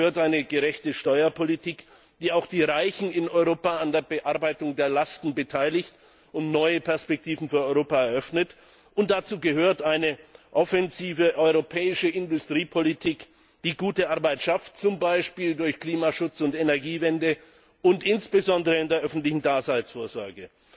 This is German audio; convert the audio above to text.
Dazu gehört eine gerechte Steuerpolitik, die auch die Reichen in Europa an der Bearbeitung der Lasten beteiligt und neue Perspektiven für Europa eröffnet, und dazu gehört eine offensive europäische Industriepolitik, die gute Arbeit schafft, zum Beispiel durch Klimaschutz und Energiewende und insbesondere in der öffentlichen Daseinsvorsorge.